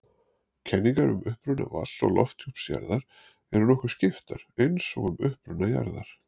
Kenningar um uppruna vatns- og lofthjúps jarðar eru nokkuð skiptar eins og um uppruna jarðar.